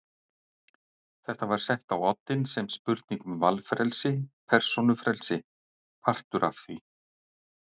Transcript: Þetta var sett á oddinn sem spurning um valfrelsi, persónufrelsi, partur af því.